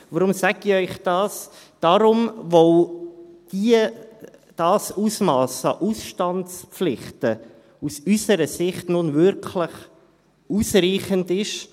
Warum sage ich Ihnen dies? – Deshalb, weil dieses Ausmass an Ausstandspflichten aus unserer Sicht nun wirklich ausreichend ist.